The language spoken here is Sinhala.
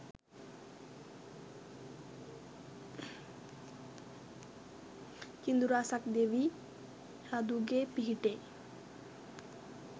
කිඳුරා සක් දෙවි රඳුගේ පිහිටෙන්